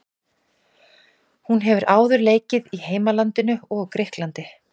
Hún hefur áður leikið í heimalandinu og Grikklandi.